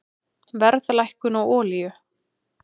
Verðlækkun á olíu